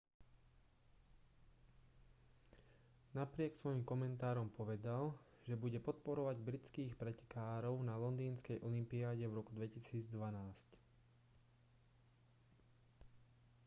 napriek svojim komentárom povedal že bude podporovať britských pretekárov na londýnskej olympiáde v roku 2012